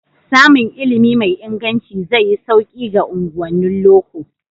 Samun ilimi mai inganci zai yi sauki ga unguwannin loko.